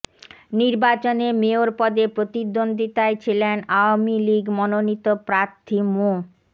নির্বাচনে মেয়র পদে প্রতিদ্বন্দ্বিতায় ছিলেন আওয়ামী লীগ মনোনীত প্রার্থী মো